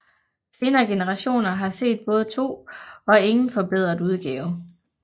Senere generationer har set både to og ingen forbedret udgave